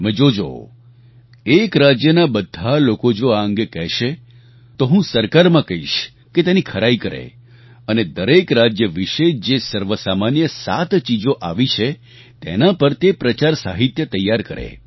તમે જોજો એક રાજ્યના બધા લોકો જો આ અંગે કહેશે તો હું સરકારમાં કહીશ કે તેની ખરાઈ કરે અને દરેક રાજ્ય વિશે જે સર્વસામાન્ય સાત ચીજો આવી છે તેના પર તે પ્રચાર સાહિત્ય તૈયાર કરે